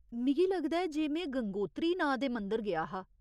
मिगी लगदा ऐ जे में गंगोत्री नांऽ दे मंदर गेआ हा।